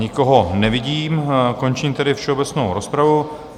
Nikoho nevidím, končím tedy všeobecnou rozpravu.